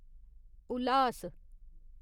उल्हास